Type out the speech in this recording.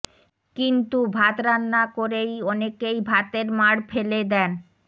কিন্তু ভাত রান্না করেই অনেকেই ভাতের মাড় পেলে দেন